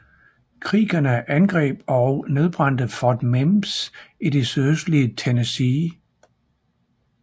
Creekerne angreb og nedbrændte Fort Mims i det sydøstlige Tennessee